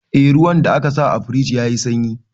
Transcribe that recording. Eh, ruwan da aka sa a firjin ya yi sanyi